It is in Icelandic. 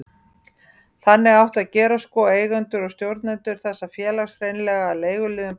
Þannig átti að gera sko, eigendur og stjórnendur þessa félags, hreinlega að leiguliðum bankans.